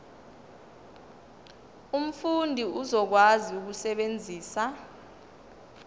umfundi uzokwazi ukusebenzisa